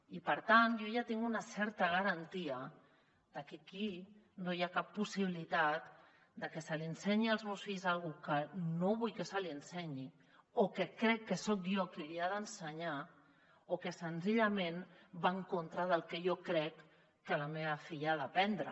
i per tant jo ja tinc una certa garantia de que aquí no hi ha cap possibilitat de que s’ensenyi als meus fills alguna cosa que no vull que se’ls ensenyi o que crec que soc jo qui els hi ha d’ensenyar o que senzillament va en contra del que jo crec que la meva filla ha d’aprendre